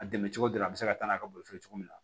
A dɛmɛ cogo dɔ la a bɛ se ka taa n'a ka boli cogo min na